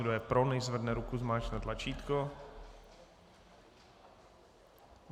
Kdo je pro, nechť zvedne ruku, zmáčkne tlačítko.